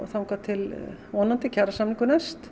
þangað til vonandi kjarasamningur næst